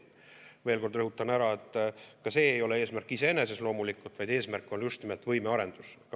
Veel kord rõhutan, et ka see ei ole loomulikult eesmärk iseeneses, vaid eesmärk on just nimelt võimearendus.